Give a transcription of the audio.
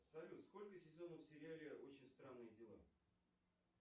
салют сколько сезонов в сериале очень странные дела